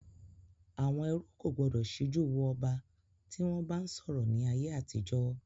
Àwọn ẹrú kò gbọdọ̀ síjú wo ọba tí wọn bá ń sọ̀rọ̀ ni ayé àtijọ́